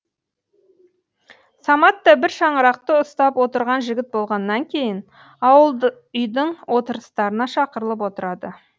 самат та бір шаңырақты ұстап отырған жігіт болғаннан кейін ауыл үйдің отырыстарына шақырылып отырады